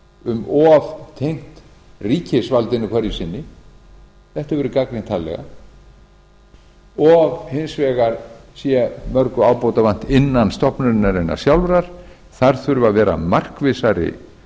um of tengt ríkisvaldinu hverju sinni þetta hefur verið gagnrýnt harðlega og hins vegar sé mörgu ábótavant innan stofnunarinnar sjálfrar þar þurfi að vera markvissari